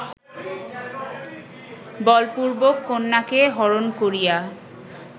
বলপূর্বক কন্যাকে হরণ করিয়া